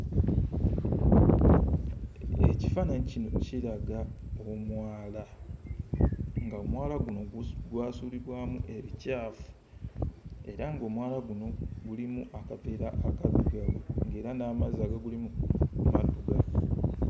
Ekifaananyi kino kiraga omwala, ng'omwala guno gwasuulibwamu ebicaafu era ng'omwala guno gulimu akaveera akaddugavu ng'era n'amazzi agagulimu maddugavu.